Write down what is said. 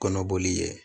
Kɔnɔboli ye